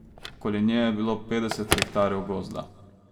Okoli nje je bilo petdeset hektarjev gozda.